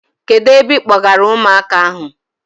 Kedụ ebe ịkpọgara ụmụaka ahụ?